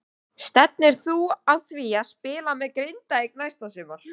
Stefnir þú að því að spila með Grindavík næsta sumar?